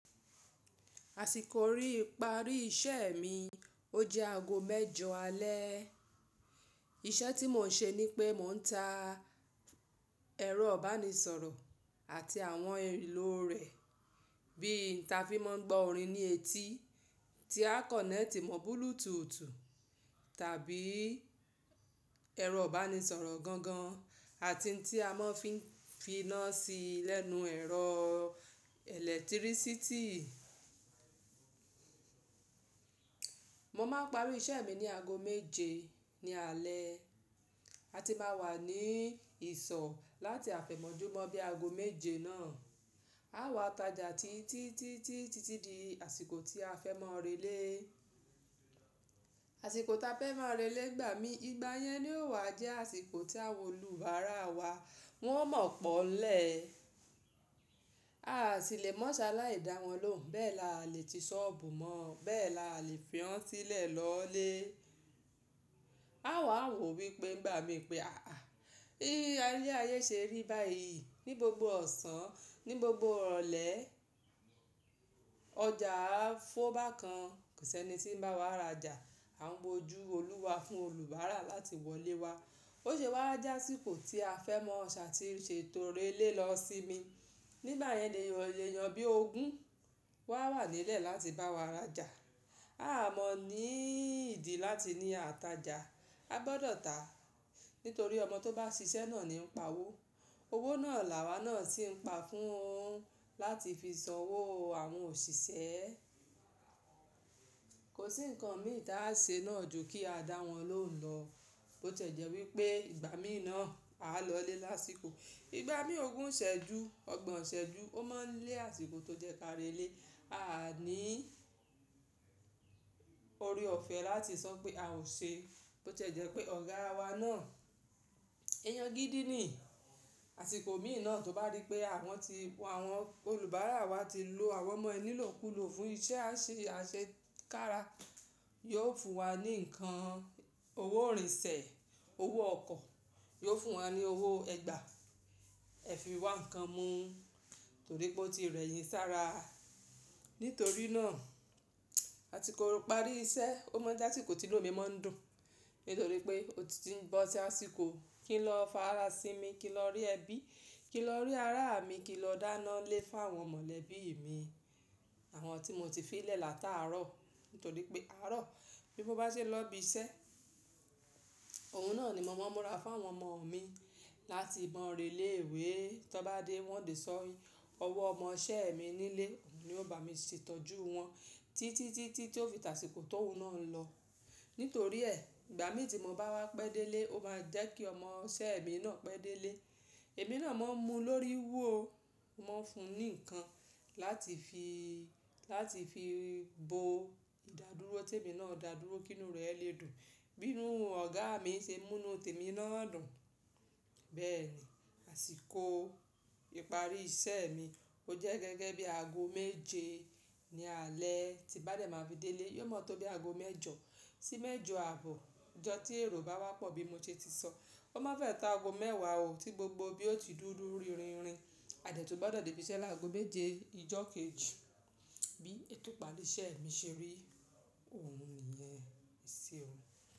Àsìkò rí ipari iṣẹ́ mi ó jẹ́ aago mẹ́jọ alẹ́. Iṣẹ́ tí mò ń ṣe ní pé mò ń ta ẹ̀rọ ìbánisọ̀rọ̀ àti àwọn elò rẹ̀, bí n ta fi máa ń gbọ́ orin ní etí, tí a kọ̀nẹ́ẹ̀tì mọ́ búúlùtùù tàbí ẹ̀rọ ìbánisọ̀rọ̀ gangan àti tí a máa fi fi iná sí lẹ́nu ẹ̀rọ ẹ̀lẹ́tírísítì. Mo máa parí iṣẹ́ mi ní aago méje ní alẹ́, a ti máa wà ní ìsọ̀ láti afẹ̀mọ́júmọ́ bí i aago méje náà. A wà tajà ti títítítí títí di àsìkò tí a fẹ́ máa relé. Àsìkò ta fẹ́ máa relé gbà mí ìgbà yẹn ni ó wà jẹ́ àsìkò tí àwọn olùbárà wa wọn mọ̀ pọ́ ńlẹ̀. A sì lè mọ́ ṣaláì dá wọn lóhùn, bẹ́ẹ̀ la lè ti ṣọ́ọ̀bù mọ́, bẹ́ẹ̀ la lè fi wọ́n sílẹ̀ lọlé. A wà wò wípé igbà mí pé à á, bí ayé ṣe rí báyìí ní gbogbo ọ̀sán, ní gbogbo ọ̀rẹ̀lẹ́, ọjà á fọ́ bákan, kò sí ẹni tí ń bá wa rajà. À n w'ójú olúwa fún olùbárà láti wọlé wa. Ó ṣe wá já àsìkò tí a fẹ́ mọ ṣà tí ṣeto relé lọ símí. Nígbà yẹn lè yàn bí ogún wa wà nílẹ̀ láti bá wa rajà. A a mọ ní ìdí láti ní àtajà, a gbọdọ̀ tàá, nítorí ọmọ tó bá ṣiṣẹ́ náà ni ń pa owó. Owó náà làwá náà sì ń pa fún un láti fi san owó àwọn òṣìṣẹ́. Kò sí ǹkan mí ìta á ṣe náà ju kí a dá wọn lóhùn lọ. Ó tẹ̀jẹ́ wípé ìgbà mí náà a lọlé lásìkò. Ìgbà míi ogún ṣẹ́jú, ọgbọ̀n ṣẹ́jú, ó máa ń lé àsìkò tó jẹ́ ká relé. A à ní ore ọ̀fẹ́ láti sọ pé a ò ṣe. Ó tẹ̀jẹ́ pé ọ̀gáa wa náà, ẹyan gídí ni. Àsìkò míì náà tó bá rí pé àwọn ti, àwọn olùbárà wa ti lo àwọn ọmọ ẹní lọ́kùúlọ fún iṣẹ́ àṣekára, yóò fún wa ní ǹkan owó ìrìnsẹ̀, owó ọkọ̀, yóò fún wa ní owó ẹgba, ẹ fi wá ǹkan mú torí pé ó ti rẹ̀ yín sára. Nítorí náà, àtiko ipari iṣẹ́, ó mọ jẹ́ asikò tilò mi máa ń dùn. Nítorí pé ó ti ń bọ́ sí àsìkò kí n lọ farasinmi, kí n lọ rí ẹbí, kí n lọ rí ará mi, kí n lọ dáná lé fáwọn mọ̀lẹ́bí mi, àwọn tí mo ti fi lẹ̀ láta àárọ̀. Nítorí pé àárọ̀ bí mó bá ṣe lọ bí iṣẹ́, òun náà ni mo máa ń múra fáwọn ọmọ mi láti mọn relé ìwé. Tọ́n bá dé wọ́n dè sọ owó ọmọ iṣẹ́ mi nílé, ni ó bá mi ṣètọ́jú wọn títítítí tí ó fi tàsìkò tóun náà lọ. Nítorí ẹ̀, ìgbà mí tí mo bá wá pẹ́ délé ó máa jẹ́ kí ọmọ iṣẹ́ mi náà pẹ́ délé. Èmi náà máa ń mu lórí wò, mo ń fún un ní ǹkan láti fi láti fi bo ìdádúró tí èmi náà dádúró kí inú rẹ̀ lè dùn. Bínú ọ̀gáà mi ṣe mú inú tèmi nána dùn. Bẹ́ẹ̀ ni, àsìkò ìparí iṣẹ́ mi ó jẹ́ gẹ́gẹ́ bí i aago méje ni alẹ́ tí bá dẹ̀ máa fi délé, yóò mọ́ tó bí i aago mẹ́jọ sí mẹ́jọ àbọ̀. Ọjọ́ tí èrò bá wá pọ̀ bí mo ṣe ti sọ, ó máa fẹ́ ta aago mẹ́wàá òò ti gbogbo bí ó ti dúdú rírinrin. A dẹ tun gbọdọ̀ dé ibi iṣẹ́ láti aago méje ìjọ́ kejì bí ètò ìparí iṣẹ́ mi ṣe rí, òun nìyẹn eṣẹ́ ò.